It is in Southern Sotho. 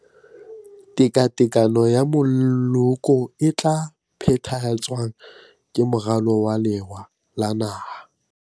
Tekatekano ya Moloko e tla phethahatswang ka Moralo wa Lewa la Naha.